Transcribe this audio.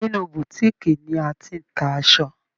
Inú Boutique ni a ti n ta aṣọ.